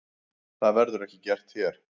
Það verður ekki gert hér.